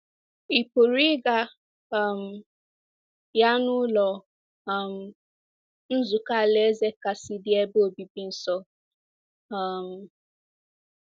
Ị pụrụ ịga um ya n’Ụlọ um Nzukọ Alaeze kasị dị ebe obibi nso. um